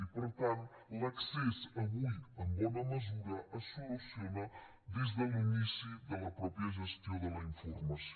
i per tant l’accés avui en bona mesura es soluciona des de l’inici de la pròpia gestió de la informació